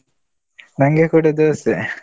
ನಂಗೆ ಕೂಡ ದೋಸೆ.